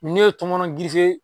Ne ye tɔmɔnɔ